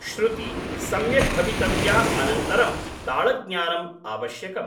श्रुति सम्यक् भवितव्या अनन्तरं ताळज्ञानम् आवश्यकम्